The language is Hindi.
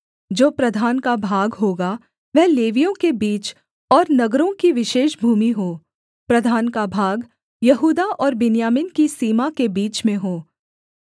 जो प्रधान का भाग होगा वह लेवियों के बीच और नगरों की विशेष भूमि हो प्रधान का भाग यहूदा और बिन्यामीन की सीमा के बीच में हो